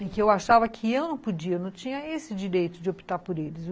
E que eu achava que eu não podia, eu não tinha esse direito de optar por eles.